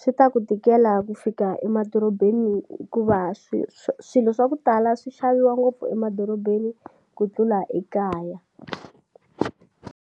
swi ta ku tikela ku fika emadorobeni hikuva swilo swa ku tala swi xaviwa ngopfu emadorobeni ku tlula ekaya.